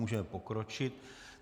Můžeme pokročit.